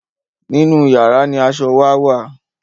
nínú yàrá ní aṣọ wà wá